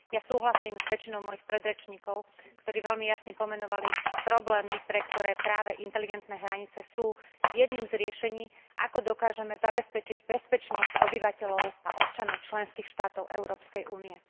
Ja súhlasím s väčšinou mojich predrečníkov, ktorí veľmi jasne pomenovali problémy, pre ktoré práve inteligentné hranice sú jedným z riešení, ako dokážeme zabezpečiť bezpečnosť obyvateľov a občanov členských štátov Európskej únie.